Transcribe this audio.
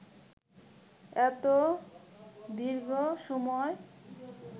এত দীর্ঘ সময়